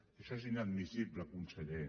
això és inadmissible conseller